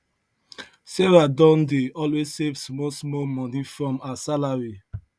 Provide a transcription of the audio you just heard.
sarah don dey always save small small money from her salary